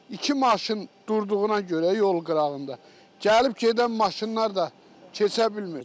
İki maşın durduğuna görə yol qırağında, gəlib gedən maşınlar da keçə bilmir.